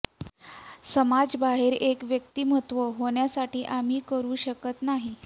समाज बाहेर एक व्यक्तिमत्व होण्यासाठी आम्ही करू शकत नाही